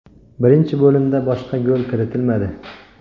Birinchi bo‘limda boshqa gol kiritilmadi.